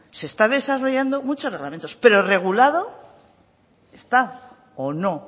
se está desarrollando muchos reglamentos pero regulado está o no o